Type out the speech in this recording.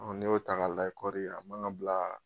n'i y'o ta k'a layɛ kɔri a man ka bilaa